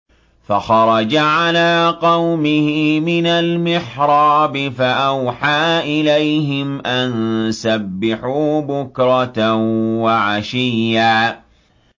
فَخَرَجَ عَلَىٰ قَوْمِهِ مِنَ الْمِحْرَابِ فَأَوْحَىٰ إِلَيْهِمْ أَن سَبِّحُوا بُكْرَةً وَعَشِيًّا